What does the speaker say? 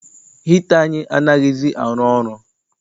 Hita anyị anaghịzi arụ ọrụ.